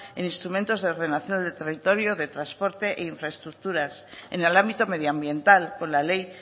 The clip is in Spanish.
e instrumentos de ordenación del territorio de transporte e infraestructuras en el ámbito medioambiental con la ley